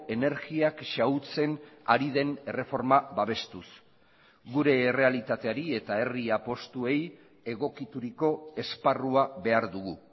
energiak xahutzen ari den erreforma babestuz gure errealitateari eta herri apustuei egokituriko esparrua behar dugu